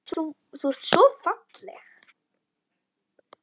Þú ert svo falleg.